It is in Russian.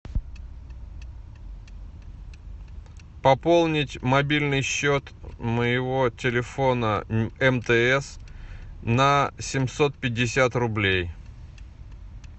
пополнить мобильный счет моего телефона мтс на семьсот пятьдесят рублей